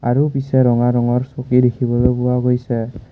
আৰু পিছে ৰঙা ৰঙৰ চকী দেখিবলৈ পোৱা গৈছে।